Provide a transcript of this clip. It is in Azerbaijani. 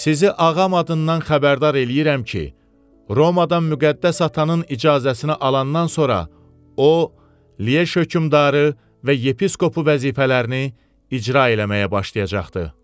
Sizi ağam adından xəbərdar eləyirəm ki, Romadan müqəddəs atanın icazəsini alandan sonra o, Liej hökmdarı və yepiskopu vəzifələrini icra eləməyə başlayacaqdır.